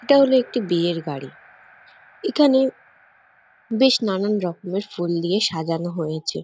এটা হল একটি বিয়ের গাড়ি এখানে বেশ নানান রকমের ফুল দিয়ে সাজানো হয়েছে।